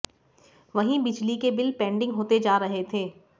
वहीं बिजली के बिल पेंडिंग होते जा रहे थे